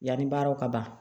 Yanni baaraw ka ban